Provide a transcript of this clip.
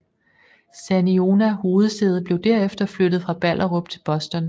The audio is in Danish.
Saniona hovedsæde blev derefter flyttet fra Ballerup til Boston